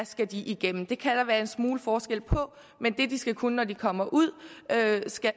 skal igennem det kan der være en smule forskel på men det de skal kunne når de kommer ud